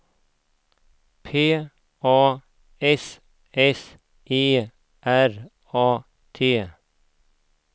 P A S S E R A T